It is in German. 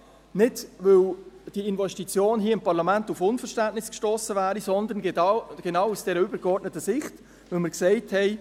Nicht, weil die Investition hier im Parlament auf Unverständnis gestossen wäre, sondern genau aus dieser übergeordneten Sicht, weil wir gesagt haben: